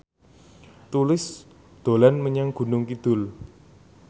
Tulus dolan menyang Gunung Kidul